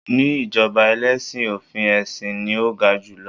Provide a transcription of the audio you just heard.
ní ijoba ẹlẹsin, ofin esin ni o ga jù lọ